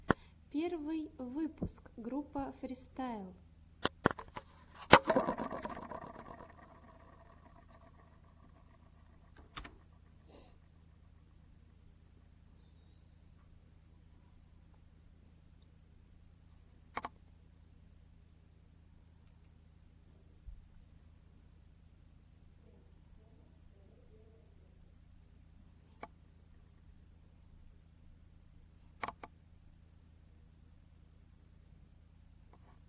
первый выпуск группа фристайл